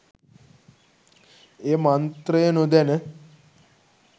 එය මන්ත්‍රය නොදැන